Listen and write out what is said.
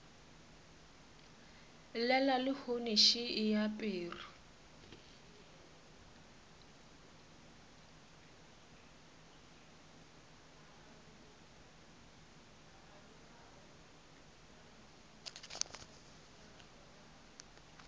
llela lehono še e aperwe